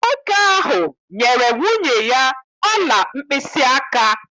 Nwoke ahụ nyere nwunye ya ọla mkpịsịaka.